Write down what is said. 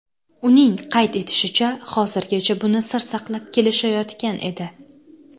Uning qayd etishicha, hozirgacha buni sir saqlab kelishayotgan edi.